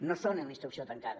no són una instrucció tancada